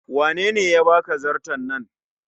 Wanene ya baka zarto nan?